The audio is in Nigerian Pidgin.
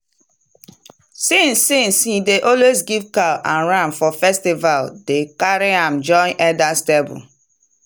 since since he dey always give cow and ram for festival dem carry am join elders table.